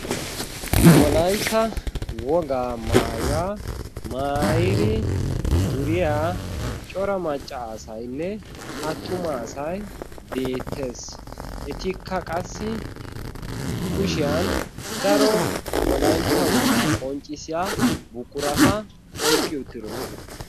wolaitta wogaa maayuwaa maairi duriyaa cora maccaasainne attuma asai beettees etikka qassi kushiyan daro wolaitta wogaa qonccissiya buqurata oiqqi uttidosona